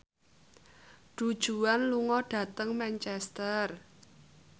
Du Juan lunga dhateng Manchester